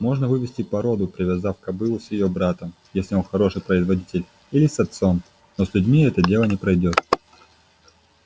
можно вывести породу привязав кобылу с её братом если он хороший производитель или с отцом но с людьми это дело не пройдёт